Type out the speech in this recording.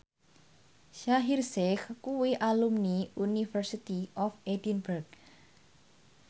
Shaheer Sheikh kuwi alumni University of Edinburgh